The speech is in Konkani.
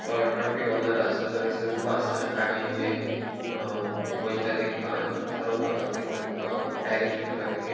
अ ट्राफिक हवालदार आसा थंयसर ऊबो आसा आणि गाड़ीयेचे वयता तेंका थारोपाखातीर तेंका डायरेक्शन दिवपाखातीर.